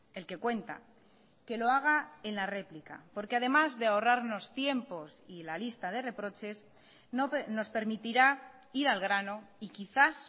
el que cuenta que lo haga en la réplica porque además de ahorrarnos tiempos y la lista de reproches nos permitirá ir al grano y quizás